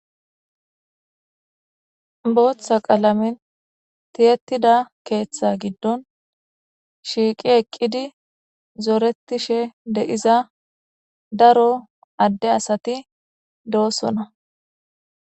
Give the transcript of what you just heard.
booththa qalamin tiyetida keeththa giddon shiiqi eqqidi zooretishe de7iza daro adde asati doosona